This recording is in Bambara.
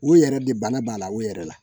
O yɛrɛ de bana b'a la o yɛrɛ la